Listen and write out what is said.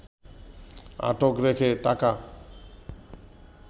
আটক রেখে টাকা